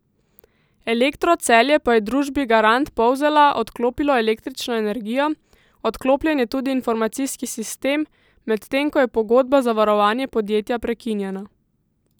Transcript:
Elektro Celje pa je družbi Garant Polzela odklopilo električno energijo, odklopljen je tudi informacijski sistem, medtem ko je pogodba za varovanje podjetja prekinjena.